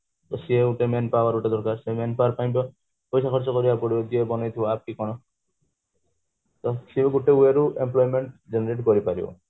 ତ ସେଇ ଆଉ men power ଗୋଟେ ଦରକାର ସେଇ men power ପାଇଁ ପଇସା ଖର୍ଚ କରିବାକୁ ପଡିବ ଯିଏ ବନେଇଥିବ କି କଣ ତ ସିଏ ଗୋଟେ way ରୁ employment generate କରିପାରିବ